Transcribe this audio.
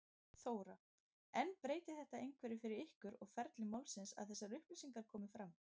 Þóra: En breytir þetta einhverju fyrir ykkur og ferli málsins að þessar upplýsingar komi fram?